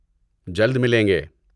جلد ملیں گے!